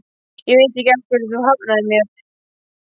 Ég veit ekki af hverju þú hafnaðir mér.